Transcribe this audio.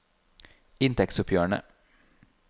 inntektsoppgjørene